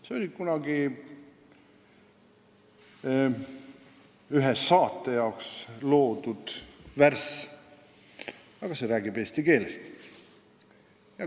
See on kunagi ühe saate jaoks loodud ja see räägib eesti keelest.